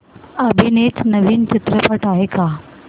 अभिनीत नवीन चित्रपट आहे का